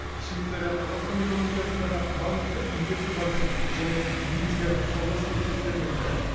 швейцария қазақстан экономикасындағы маңызды инвесторлардың және негізгі сауда серіктестерінің бірі